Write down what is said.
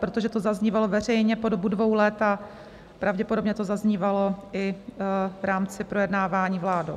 Protože to zaznívalo veřejně po dobu dvou let a pravděpodobně to zaznívalo i v rámci projednávání vládou.